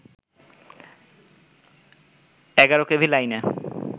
১১ KV লাইনে